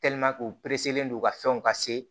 u pereselen don ka fɛnw ka se